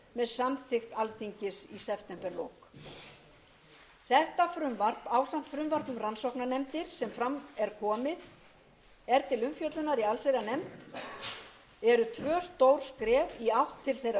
samþykkt alþingis í septemberlok þetta frumvarp ásamt frumvarpi um rannsóknarnefndir sem fram er komið er til umfjöllunar í allsherjarnefnd eru tvö stór skref í átt til þeirra